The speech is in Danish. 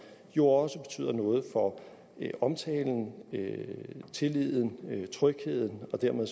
jo også betyder noget for omtalen tilliden trygheden og dermed